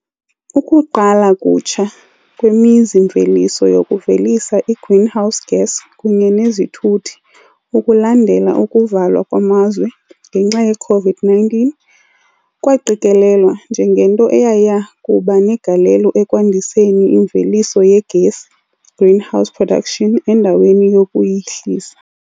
"Ukuqala kutsha" kwemizi-mveliso yokuvelisa i-greenhouse gas kunye nezithuthi ukulandela ukuvalwa kwamazwe ngenxa ye-COVID-19 kwaqikelelwa njengento eyayiya kuba negalelo ekwandiseni imveliso yegesi, green house production, endaweni yokuyihlisa.